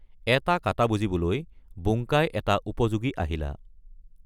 এটা কাটা বুজিবলৈ বুংকাই এটা উপযোগী আহিলা।